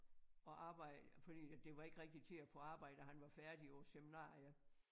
Og arbejde fordi at det var ikke rigtig til at få arbejde og han var færdig på æ seminarie